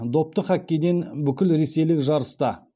допты хоккейден бүкілресейлік жарыста